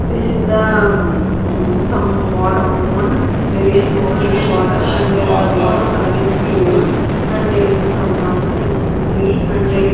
this is the mm some water pond there is so many water and the water colour is pure and there is a someone in tree and there is--